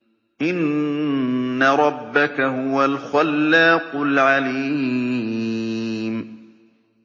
إِنَّ رَبَّكَ هُوَ الْخَلَّاقُ الْعَلِيمُ